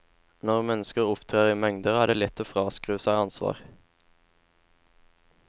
Når mennesker opptrer i mengder, er det lett å fraskrive seg ansvar.